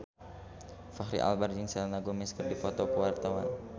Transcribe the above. Fachri Albar jeung Selena Gomez keur dipoto ku wartawan